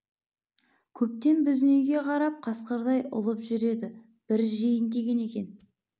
көптен біздің үйге қарап қасқырдай ұлып жүр еді бір жейін деген екен